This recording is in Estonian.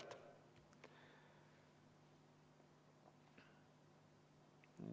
No proovime uuesti.